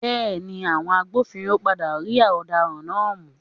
Bẹẹni, àwọn agbófinró padà rí ọ̀daràn náà mú.